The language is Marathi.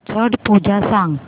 छट पूजा सांग